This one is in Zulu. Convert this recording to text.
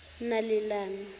nalelani